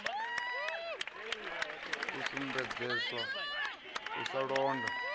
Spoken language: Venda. a sumbedzesa u sa londa